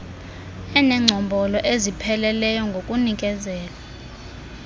enengcombolo ezipheleleyo ngokunikezelwa